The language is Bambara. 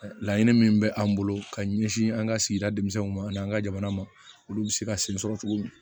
Laɲini min bɛ an bolo ka ɲɛsin an ka sigida denmisɛnninw ma ani an ka jamana ma olu bɛ se ka sen sɔrɔ cogo min